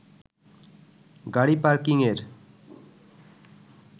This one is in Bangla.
গাড়ি পার্কিংয়ের